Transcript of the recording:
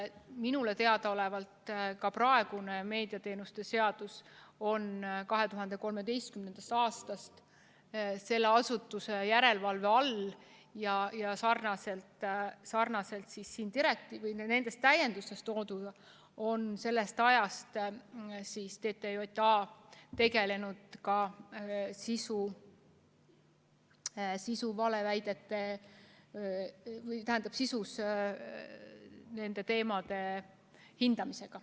Minule teadaolevalt on ka praegune meediateenuste seadus 2013. aastast selle asutuse järelevalve all ja sarnaselt siin direktiivis või nendes täiendustes tooduga on TTJA sellest ajast alates tegelenud ka sisuliselt nende teemade hindamisega.